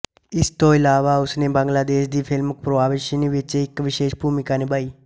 ਇਸ ਤੋਂ ਇਲਾਵਾ ਉਸਨੇ ਬੰਗਲਾਦੇਸ਼ ਦੀ ਫਿਲਮ ਪੋਰੋਬਾਸ਼ਿਨੀ ਵਿੱਚ ਇੱਕ ਵਿਸ਼ੇਸ਼ ਭੂਮਿਕਾ ਨਿਭਾਈ